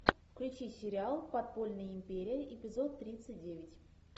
включи сериал подпольная империя эпизод тридцать девять